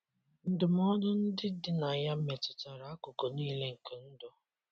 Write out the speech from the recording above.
Ndụmọdụ ndị dị na ya metụtara akụkụ nile nke ndụ.